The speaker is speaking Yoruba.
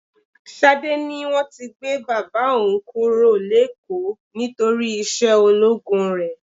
Ṣadé ní wọ́n ti gbé bàbá òun kúrò l'ékòó nítorí iṣẹ́ ológun rẹ.